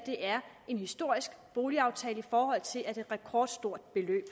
er en historisk boligaftale i forhold til at det er et rekordstort beløb